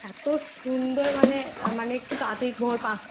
টার দিকে উঠলে যে রকম আর কী ইয়ে থাকে আবহাওয়া থাকে এত সুন্দর হুম ঠান্ডা